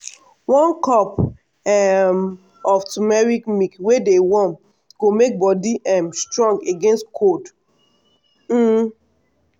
one cup um of turmeric milk wey dey warm go make body um strong against cold. um